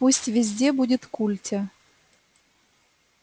пусть везде будет культя